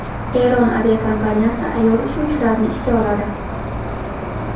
Eron aviakompaniyasi ayol uchuvchilarni ishga oladi.